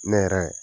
Ne yɛrɛ